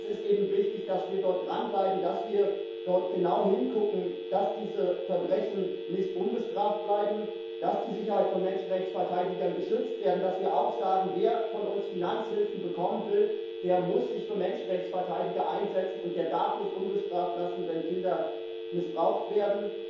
Aber es ist eben wichtig, dass wir dort dranbleiben, dass wir dort genau hingucken, dass diese Verbrechen nicht ungestraft bleiben, dass die Sicherheit von Menschenrechtsverteidigern geschützt wird und dass wir auch sagen Wer von uns Finanzhilfen bekommen will, der muss sich für Menschenrechtsverteidiger einsetzen, und der darf nicht unbestraft lassen, wenn Kinder missbraucht werden.